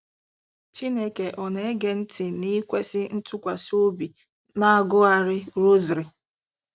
Chineke ọ na-ege ntị n'ikwesị ntụkwasị obi n'agụgharị rosary?